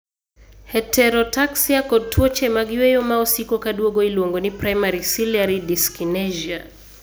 Heterotaxia kod tuoche mag yweyo ma osiko ka duogo iluongo ni primary ciliary dyskinesia.